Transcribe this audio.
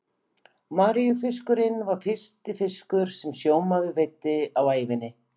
Maríufiskurinn var fyrsti fiskur sem sjómaður veiddi á ævinni.